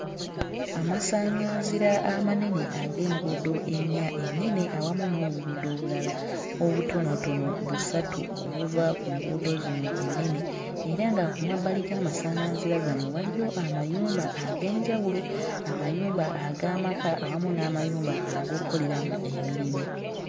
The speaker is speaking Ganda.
Amasaᵑᵑanzira amanene ag'enguudo ennya ennene awamu n'obuguudo obulala obutonotono busatu obuva ku nguudo zino ennene era ku mabbali g'amasaᵑᵑanzira gano waliwo amayumba ag'enjawulo amayumba ag'amaka awamu n'amayumba ag'okkoleramu emirimu.